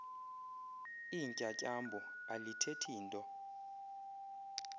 iintyatyambo alithethi nto